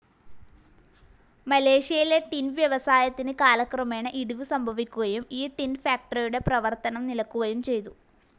മലേഷ്യയിലെ ടിൻ വ്യവസായത്തിന് കാലക്രമേണ ഇടിവു സംഭവിക്കുകയും ഈ ടിൻ ഫാക്ടറിയുടെ പ്രവർത്തനം നിലക്കുകയും ചെയ്തു.